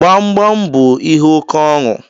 Gbamgbam bú ihe oke ọnụ